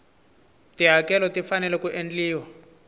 tihakelo ti fanele ku endliwa